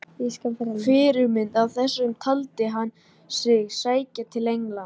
Fyrirmynd að þessu taldi hann sig sækja til Englands.